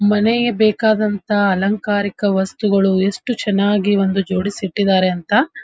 ಮನೆಗೆ ಬೇಕಾದಂಥ ಅಲಂಕಾರಿಕ ವಸ್ತುಗಳು ಎಷ್ಟು ಚೆನ್ನಾಗಿ ಒಂದು ಜೋಡಿಸಿ ಇಟ್ಟಿದಾರೆ ಅಂತ --